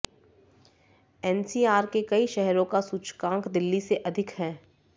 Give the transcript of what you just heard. NCR के कई शहरों का सूचकांक दिल्ली से अधिक है